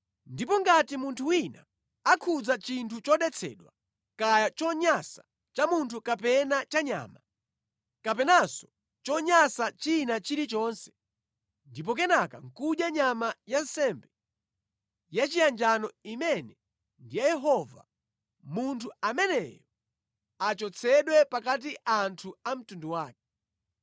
Ndipo ngati munthu wina akhudza chinthu chodetsedwa, kaya chonyansa cha munthu kapena cha nyama, kapenanso chonyansa china chilichonse, ndipo kenaka nʼkudya nyama ya nsembe yachiyanjano imene ndi ya Yehova, munthu ameneyo achotsedwe pakati anthu a mtundu wake.’ ”